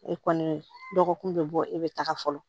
E kɔni dɔgɔkun bɛ bɔ e bɛ taga fɔlɔ